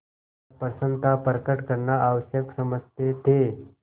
अप्रसन्नता प्रकट करना आवश्यक समझते थे